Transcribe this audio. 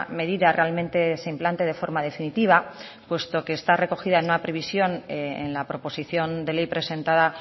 medida realmente se implante de forma definitiva puesto que está recogida en una previsión en la proposición de ley presentada